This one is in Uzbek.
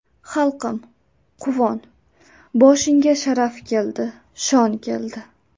Xalqim, quvon, boshingga Sharaf keldi, shon keldi.